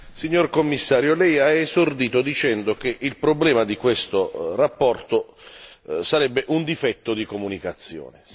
Signor Commissario, lei ha esordito dicendo che il problema di questa relazione sarebbe un difetto di comunicazione.